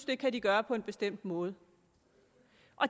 det kan de gøre på en bestemt måde